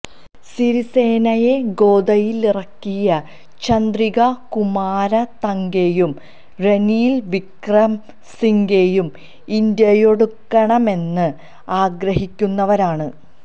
സിരിസേനയെ ഗോദയിലിറക്കിയ ചന്ദ്രികാ കുമാരതംഗെയും റനില് വിക്രമ സിംഗെയും ഇന്ത്യയോടടുക്കണമെന്ന് ആഗ്രഹിക്കുന്നവരാണ്